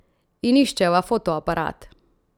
In iščeva fotoaparat.